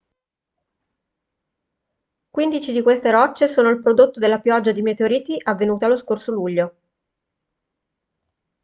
quindici di queste rocce sono il prodotto della pioggia di meteoriti avvenuta lo scorso luglio